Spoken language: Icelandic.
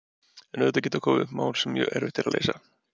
En auðvitað geta komið upp mál sem mjög erfitt er að leysa.